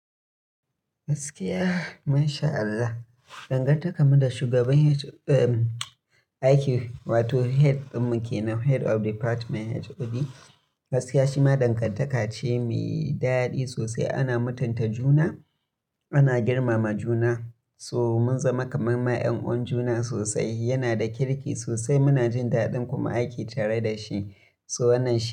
Gaskiya masha Allah, dangantakar mu da shugaban h, eh aiki wato head din mu kenan head of department HOD, gaskiya shi ma dangantaka ce mai daɗi sosai. Ana mutunta juna, ana girmama juna, so mun zama kamar ma 'yan'uwan juna sosai. Yana da kirki sosai, muna jin daɗin kuma aiki tare da shi, so wannan shi.